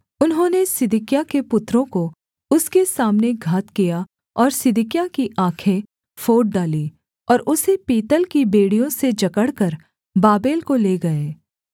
उन्होंने सिदकिय्याह के पुत्रों को उसके सामने घात किया और सिदकिय्याह की आँखें फोड़ डाली और उसे पीतल की बेड़ियों से जकड़कर बाबेल को ले गए